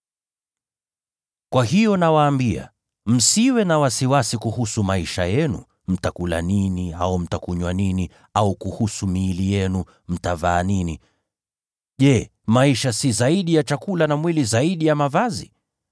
“Kwa hiyo nawaambia, msisumbukie maisha yenu kwamba mtakula nini au mtakunywa nini; au msumbukie miili yenu kwamba mtavaa nini. Je, maisha si zaidi ya chakula, na mwili zaidi ya mavazi?